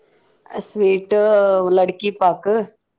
Sweet ಲಡಕಿ ಪಾಕ್.